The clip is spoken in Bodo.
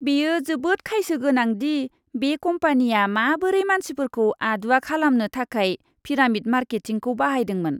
बेयो जोबोद खायसो गोनां दि बे कम्पानिया माबोरै मानसिफोरखौ आदुवा खालामनो थाखाय पिरामिड मार्केटिंखौ बाहायदोंमोन!